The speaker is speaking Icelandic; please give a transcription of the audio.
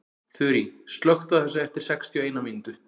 Þurý, slökktu á þessu eftir sextíu og eina mínútur.